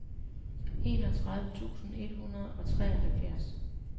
enogtredive tusind et hundrede og treoghalvfjerds